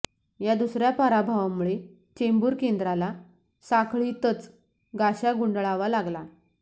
या दुसर्या पराभवामुळे चेंबूर केंद्राला साखळीतच गाशा गुंडाळावा लागला